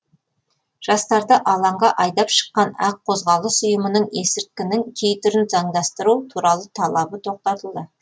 жастарды алаңға айдап шыққан ақ қозғалыс ұйымының есірткінің кей түрін заңдастыру туралы талабы тоқтатылды